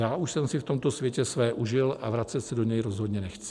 Já už jsem si v tomto světě své užil a vracet se do něj rozhodně nechci.